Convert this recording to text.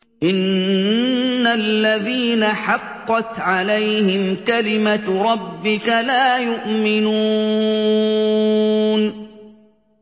إِنَّ الَّذِينَ حَقَّتْ عَلَيْهِمْ كَلِمَتُ رَبِّكَ لَا يُؤْمِنُونَ